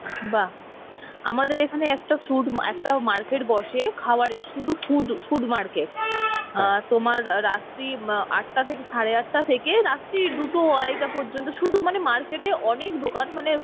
বাহ আমাদের এখানে একটা food একটা market বসে কাওয়ারের, সুধু food, food market তোমার রাত্রি মা~ আটটা থেকে সারে আটটা থেকে রাত্রি দুটো আড়াইটা পর্যন্ত শুধু মানে market এ অনেক দোকান মানে